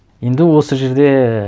енді осы жерде